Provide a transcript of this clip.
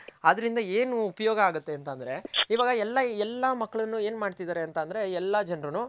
ಆದ್ರಿಂದ ಏನು ಉಪಯೋಗ ಆಗುತ್ತೆ ಅಂತ ಅಂದ್ರೆ ಇವಾಗ ಎಲ್ಲ ಎಲ್ಲ ಮಕ್ಳುನು ಏನ್ ಮಾಡ್ತಿದರೆ ಅಂತ ಅಂದ್ರೆ ಎಲ್ಲ ಜನರುನು.